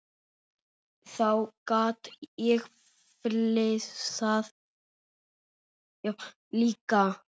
Þá gat ég flissað líka.